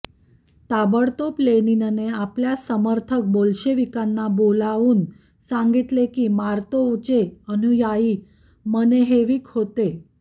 ताबडतोब लेनिनने आपल्या समर्थक बोल्शेविकांना बोलावून सांगितले की मार्तोवचे अनुयायी मनेहेविक होते